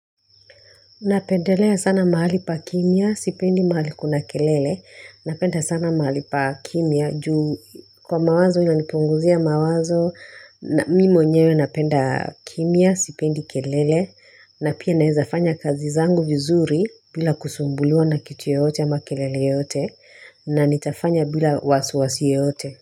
Napendelea sana mahali pa kimya, sipendi mahali kuna kelele. Napenda sana mahali pa kimya juu kwa mawazo inanipunguzia mawazo na mimi mwenyewe napenda kimya, sipendi kelele na pia naezafanya kazi zangu vizuri bila kusumbuliwa na kitu yoyote ama kelele yoyote na nitafanya bila wasiwasi yaote.